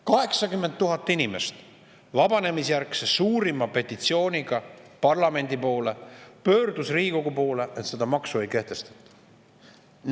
80 000 inimest pöördus vabanemise järgse suurima petitsiooniga parlamendi poole, Riigikogu poole, et seda maksu ei kehtestataks.